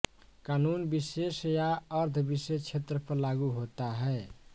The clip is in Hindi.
कानून विशेष या अर्ध विशेष क्षेत्र पर लागू होता है